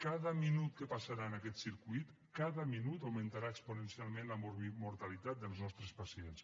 cada minut que passarà en aquest circuit cada minut augmentarà exponencialment la mortalitat dels nostres pacients